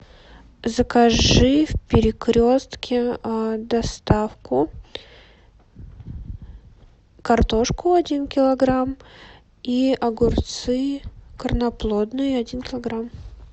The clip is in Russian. закажи в перекрестке доставку картошку один килограмм и огурцы корноплодные один килограмм